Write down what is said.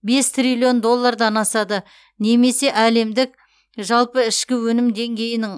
бес триллион доллардан асады немесе әлемдік жалпы ішкі өнім деңгейінің